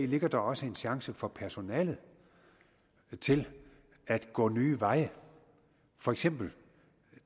ligger der også en chance for personalet til at gå nye veje for eksempel